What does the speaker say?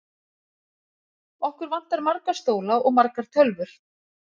Okkur vantar marga stóla og margar tölvur.